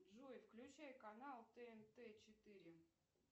джой включай канал тнт четыре